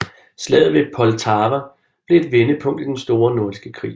Slaget ved Poltava blev et vendepunkt i den store nordiske krig